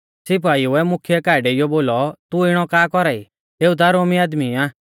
सिपाइउऐ मुख्यै काऐ डेइयौ बोलौ तू इणौ का कौरा ई एऊ ता रोमी आदमी आ